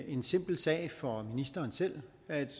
en simpel sag for ministeren selv at